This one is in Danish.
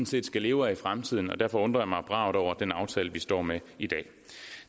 set skal leve af i fremtiden derfor undrer jeg mig bravt over den aftale vi står med i dag